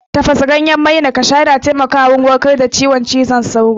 Tafasa ganyen maina kasha yana taimaka wa wurin warkar da ciwon cizon sauro